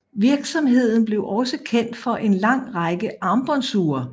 Virksomheden blev også kendt for en lang række armbåndsure